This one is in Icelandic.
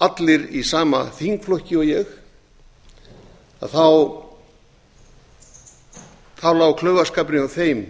allir í sama þingflokki og ég lá klaufaskapurinn hjá þeim